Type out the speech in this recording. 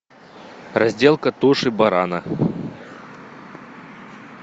разделка туши барана